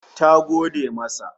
Ta gode masa